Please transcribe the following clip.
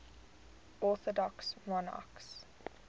orthodox monarchs